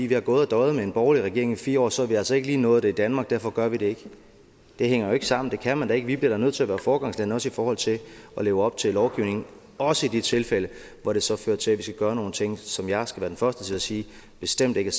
vi har gået og døjet med en borgerlig regering i fire år og så har vi altså ikke lige nået det i danmark og derfor gør vi det ikke det hænger jo ikke sammen det kan man da ikke og vi bliver da nødt til at være foregangsland også i forhold til at leve op til lovgivningen også i de tilfælde hvor det så fører til at vi skal gøre nogle ting som jeg skal være den første til at sige bestemt ikke